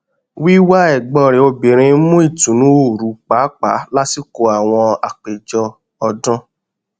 wíwá ẹgbọn rẹ obìnrin mú ìtùnú oru pàápàá lásìkò àwọn ápèjọ ọdún